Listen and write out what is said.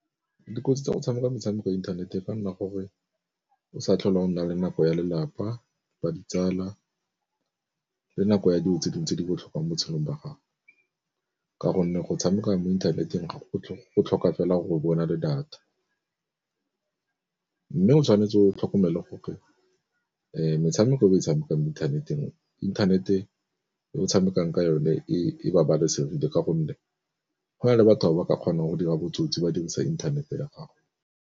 Dikotsi tsa go tshameka metshameko ya internet e ka nna gore o sa tlhole go nna le nako ya lelapa, ba ditsala, le nako ya dijo tse dingwe tse di botlhokwa mo botshelong ba gago, ka gonne go tshameka mo inthaneteng go tlhoka fela gore o be o na le data. Mme o tshwanetse o tlhokomele gore metshameko e o e tshamekang inthaneteng, inthanete e o tshamekang ka yone e babalesegile ka gonne go na le batho ba ba ka kgonang go dira botsotsi ba dirisa inthanete ya gago.